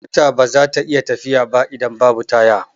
Mota baza ta iya tafiya ba idan babu taya